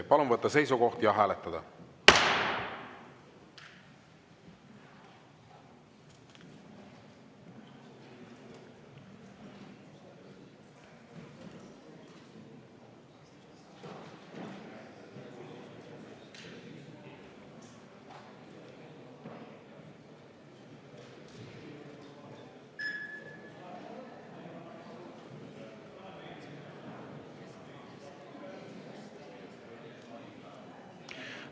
Palun võtta seisukoht ja hääletada!